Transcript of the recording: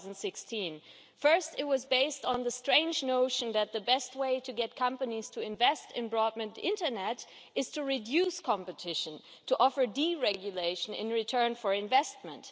2016. First, it was based on the strange notion that the best way to get companies to invest in broadband internet was to reduce competition and to offer deregulation in return for investment.